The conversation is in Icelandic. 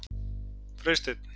Freysteinn